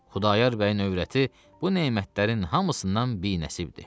Xudayar bəyin övrəti bu nemətlərin hamısından binəsibdir.